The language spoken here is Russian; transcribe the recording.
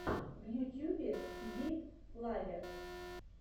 в ютюбе гейб флавер